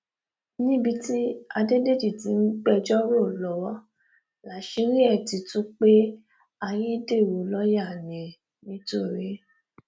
níbi tí adédèjì ti ń gbẹjọ rò lọwọ láṣìírí ẹ ti tú pé ayédèrú lọọyà ní nìtorí